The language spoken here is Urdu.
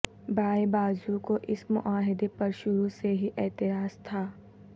بائیں بازو کو اس معاہدے پر شروع سے ہی اعتراض تھا